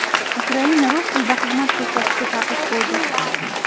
Ukraina rus tilida xizmat ko‘rsatishga taqiq qo‘ydi.